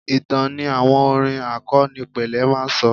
Ìtàn ni àwọn orin àkọnípele máa ń sọ.